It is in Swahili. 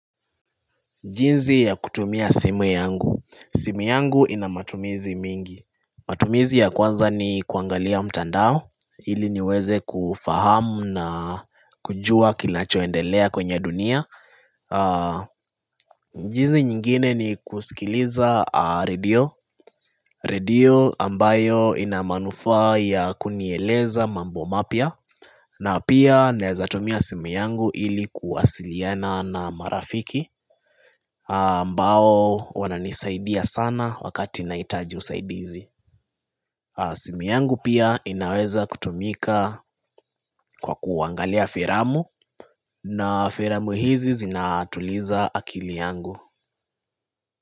Jinzi ya kutumia simu yangu, simu yangu inamatumizi mingi matumizi ya kwanza ni kuangalia mtandao, ili niweze kufahamu na kujua kinachoendelea kwenye dunia jinsi nyingine ni kusikiliza radio, radio ambayo inamanufaa ya kunieleza mambo mapya na pia nawezatumia simu yangu ili kuwasiliana na marafiki ambao wananisaidia sana wakati nahitaji usaidizi simu yangu pia inaweza kutumika kwa kuangalia filamu na filamu hizi zinatuliza akili yangu.